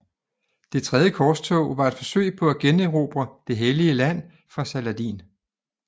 Det Tredje Korstog var et forsøg på at generobre Det Hellige Land fra Saladin